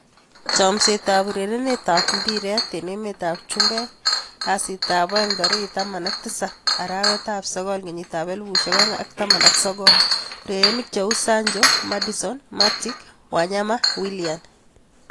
Chomset ab urerenet ab mbiret eng emet ab chumbek kastab aeng 17.09.2019:Sancho, Maddison, Matic, Wanyama, Willian